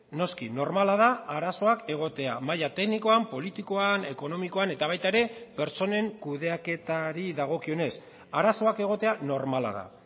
noski normala da arazoak egotea maila teknikoan politikoan ekonomikoan eta baita ere pertsonen kudeaketari dagokionez arazoak egotea normala da